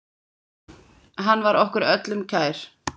Hann var okkur öllum kær.